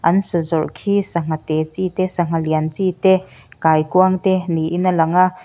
an sa zawrh khi sangha te chi te sangha lian chi te kaikuang te niin a lang a.